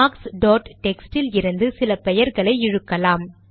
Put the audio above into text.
marks dot text இலிருந்து சில பெயர்களை இழுக்கலாம்